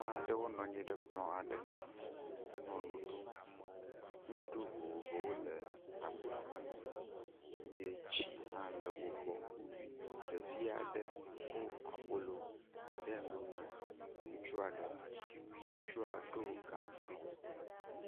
aɖewo nɔ anyi ɖe kplɔ aɖe ŋu henɔ nu ɖum. Nuɖuɖu vovovowo le agba me na wo eye tsi hã le wo gbɔ. Ɖevi aɖe ko abolo de nu na ŋutsu aɖe. Ŋutsua ɖo gaŋkui.